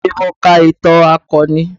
Bẹẹ ni, mo ka ìtàn akọni